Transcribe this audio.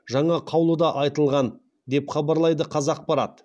жаңа қаулыда айтылған деп хабарлайды қазақпарат